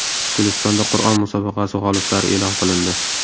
Gulistonda Qur’on musobaqasi g‘oliblari e’lon qilindi.